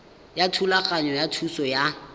ya thulaganyo ya thuso ya